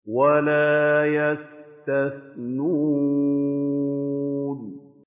وَلَا يَسْتَثْنُونَ